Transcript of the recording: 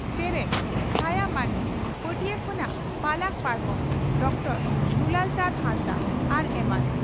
ᱪᱮᱨᱮᱡ (ᱪᱷᱟᱭᱟ ᱢᱟᱱᱰᱤ) ᱯᱟᱹᱴᱤᱭᱟᱹ ᱠᱷᱚᱱᱟᱜ ᱯᱟᱞᱟᱠ ᱯᱟᱨᱠᱚᱢ (ᱰᱚᱠᱴᱚᱨ ᱫᱩᱞᱟᱞ ᱪᱟᱸᱫᱽ ᱦᱟᱸᱥᱫᱟ) ᱟᱨ ᱮᱢᱟᱱ ᱾